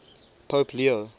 pope leo